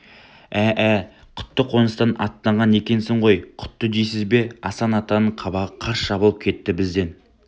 ә-ә құтты қоныстан аттанған екенсіз ғой құтты дейсіз бе асан атаның қабағы қарс жабылып кетті бізден